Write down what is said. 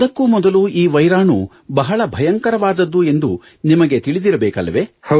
ಅದಕ್ಕೂ ಮೊದಲು ಈ ವೈರಾಣು ಬಹಳ ಭಯಂಕರವಾದದ್ದು ಎಂದು ನಿಮಗೆ ತಿಳಿದಿರಬೇಕಲ್ಲವೇ